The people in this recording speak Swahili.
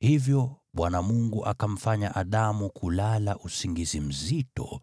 Hivyo Bwana Mungu akamfanya Adamu kulala usingizi mzito,